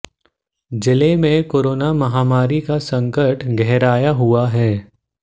जिले में कोरोना महामारी का संकट गहराया हुआ है